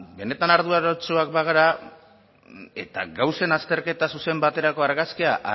benetan arduratsuak bagara eta gauzen azterketa zuzen baterako argazkia